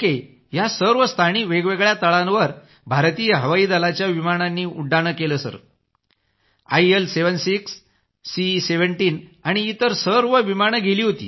या सर्व स्थानी वेगवेगळ्या तळांवर भारतीय हवाई दलाच्या विमानांनी उड्डाण केलं सर आयएल 76 सी17 आणि इतर सर्व विमानं गेली होती